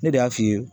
Ne de y'a f'i ye